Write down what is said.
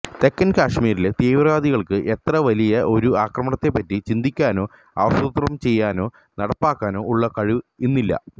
തെക്കൻ കശ്മീരിലെ തീവ്രവാദികൾക്ക് ഇത്ര വലിയ ഒരു ആക്രമണത്തെപ്പറ്റി ചിന്തിക്കാനോ ആസൂത്രണം ചെയ്യാനോ നടപ്പാക്കാനോ ഉള്ള കഴിവ് ഇന്നില്ല